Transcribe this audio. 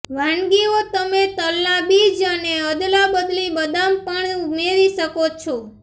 વાનગીઓ તમે તલનાં બીજ અને અદલાબદલી બદામ પણ ઉમેરી શકો છો